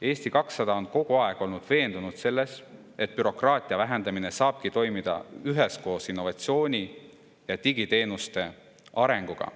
Eesti 200 on kogu aeg olnud veendunud selles, et bürokraatia vähendamine saabki toimuda üheskoos innovatsiooni ja digiteenuste arenguga.